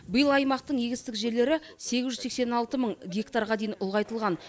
биыл аймақтың егістік жерлері сегіз жүз сексен алты мың гектарға дейін ұлғайтылған